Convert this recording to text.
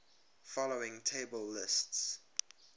following table lists